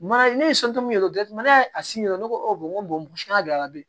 Mana ne ye yɛrɛ a sin jira ne ko awɔ n ko don a la